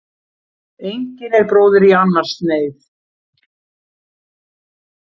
Engin er bróðir í annars neyð.